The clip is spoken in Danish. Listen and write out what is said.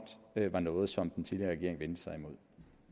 var noget som den tidligere regering vendte sig imod